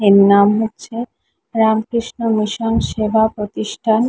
এর নাম হচ্ছে রামকৃষ্ণ মিশন সেবা প্রতিষ্ঠান।